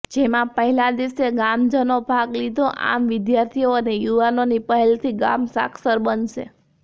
જેમાં પહેલા દિવસે ગામજનો ભાગ લીધો આમ વિદ્યાર્થીઓ અને યુવાનોની પહેલથી ગામ સાક્ષર બનશે